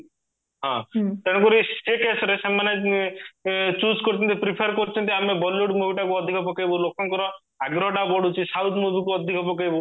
ହଁ ତେଣୁ କରି ସେଇ caseରେ choose କରୁଚନ୍ତି prefer କରୁଚନ୍ତି ଆମେ bollywood movie ଟା କୁ ଅଧିକ ପକେଇବୁ ଲୋକଙ୍କର ଆଗ୍ରହ ଟା ବଢୁଚି south movie ଅଧିକ ପକେଇବୁ